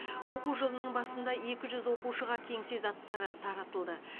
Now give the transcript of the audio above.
оқу жылының басында екі жүз оқушыға кеңсе заттары таратылды